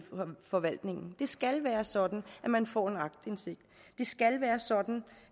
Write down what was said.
forvaltningen det skal være sådan at man får aktindsigt det skal være sådan